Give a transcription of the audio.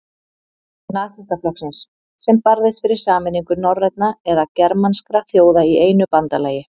Nasistaflokksins, sem barðist fyrir sameiningu norrænna eða germanskra þjóða í einu bandalagi.